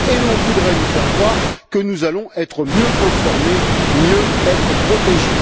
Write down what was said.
Et l'on voudrait nous faire croire que nous allons être mieux informés et mieux protégés!